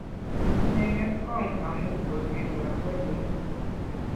Kitinyei ng'etkong' amu kosir lakwenyu